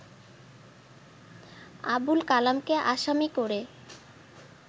আবুল কালামকে আসামি করে